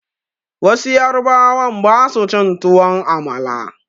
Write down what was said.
Wasu yarubawan ba su cin tuwon amala